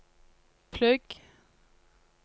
plugg